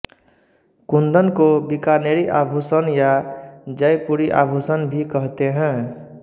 कुन्दन को बीकानेरी आभूषण या जयपुरी आभूषण भी कहते हैं